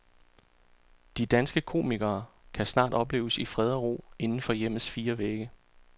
De danske komikere kan snart opleves i fred og ro inden for hjemmets fire vægge.